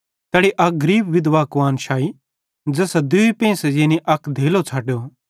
तैनी अक बड़ी गरीब विधवा कुआन्श लाई ज़ैसां दूई पेंइसे यानी अक धेलो च़ाढ़ो